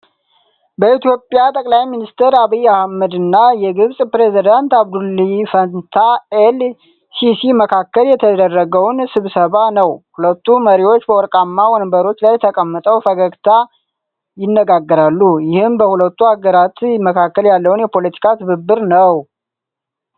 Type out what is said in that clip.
በኢትዮጵያ ጠቅላይ ሚኒስትር ዐቢይ አህመድ እና የግብፅ ፕሬዚዳንት አብዱልፈታህ ኤል ሲሲ መካከል የተደረገውን ስብሰባ ነው። ሁለቱ መሪዎች በወርቃማ ወንበሮች ላይ ተቀምጠው በፈገግታ ይነጋገራሉ። ይህም በሁለቱ አገራት መካከል ያለውን የፖለቲካ ትብብር ነው።